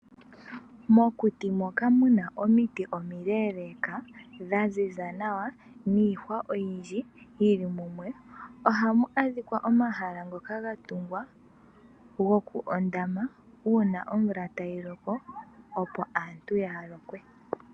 Mokuti moka muna omiiti omileeleka dha ziza nawa niihwa oyindji yili mumwe, ohamu adhikwa omahala ngoka ga tugwa goku ondama una omvula tayi loko, opo aantu kaaya lokwe.